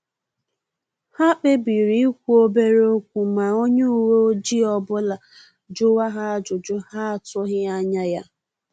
Ha kpebiri ikwu obere okwu ma onye uwe ọjị ọbụla juwa ha ajụjụ ha atughi anya ya